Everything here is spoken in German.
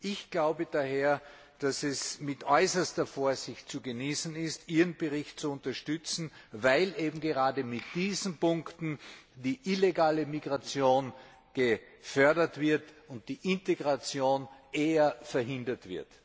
Ich glaube daher, dass es mit äußerster Vorsicht zu genießen ist, Ihren Bericht zu unterstützen, weil eben gerade mit diesen Punkten die illegale Migration gefördert wird und die Integration eher verhindert wird.